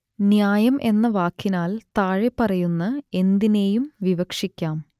ന്യായം എന്ന വാക്കിനാൽ താഴെപ്പറയുന്ന എന്തിനേയും വിവക്ഷിക്കാം